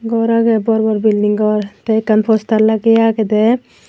gor agey bor bor building gor tay ekkan postar lageye agedey.